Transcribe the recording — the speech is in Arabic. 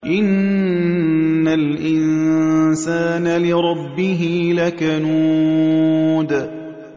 إِنَّ الْإِنسَانَ لِرَبِّهِ لَكَنُودٌ